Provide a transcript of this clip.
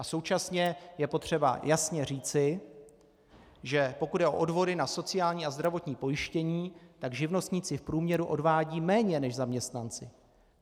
A současně je potřeba jasně říci, že pokud jde o odvody na sociální a zdravotní pojištění, tak živnostníci v průměru odvádějí méně než zaměstnanci.